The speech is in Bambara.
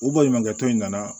U baɲumankɛ tɔn in nana